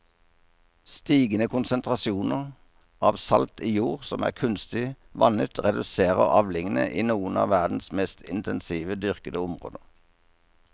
Stigende konsentrasjoner av salt i jord som er kunstig vannet reduserer avlingene i noen av verdens mest intensivt dyrkede områder.